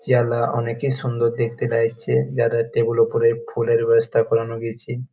চেহালা অনেকেই সুন্দর দেখা লাগছে যারা টেবিল -এর ওপর ফুলের ব্যাবস্থা করান গেছে ।